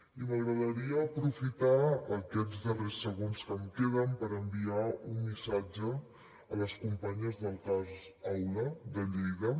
i m’agradaria aprofitar aquests darrers segons que em queden per enviar un missatge a les companyes del cas aula de lleida